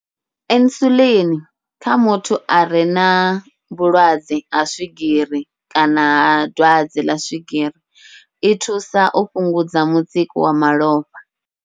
Insulin kha muthu are na vhulwadze ha swigiri kana ha dwadze ḽa swigiri, i thusa u fhungudza mutsiko wa malofha.